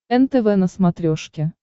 нтв на смотрешке